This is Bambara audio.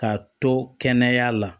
K'a to kɛnɛya la